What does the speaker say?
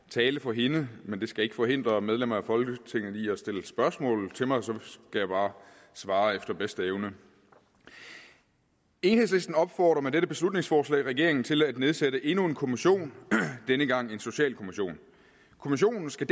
tale for hende men det skal ikke forhindre medlemmer af folketinget i at stille spørgsmål til mig så vil jeg bare svare efter bedste evne enhedslisten opfordrer med dette beslutningsforslag regeringen til at nedsætte endnu en kommission denne gang en socialkommission kommissionen skal